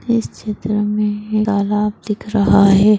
इस चित्र मे तालाब दिख रहा है।